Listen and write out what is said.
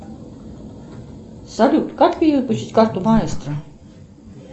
салют как перевыпустить карту маэстро